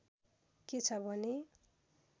के छ भने